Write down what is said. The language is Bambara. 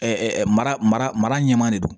mara mara ɲɛmaa de don